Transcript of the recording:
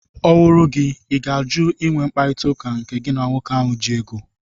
Ọ wụrụ gị, ị ga-ajụ ị nwe mkparịtaụka nke gị na nwoke ahụ ji ego?